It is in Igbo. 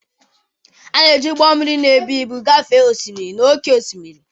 A na-eji ụgbọ mmiri na-ebu ibu gafee osimiri na oke osimiri.